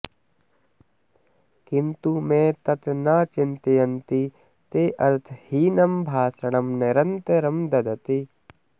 किन्तु ते तत् न चिन्तयन्ति ते अर्थहीनं भाषणं निरन्तरं ददति